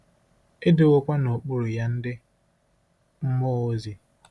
E “dowokwa n'okpuru ya” ndị mmụọ ozi.